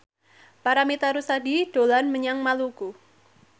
Paramitha Rusady dolan menyang Maluku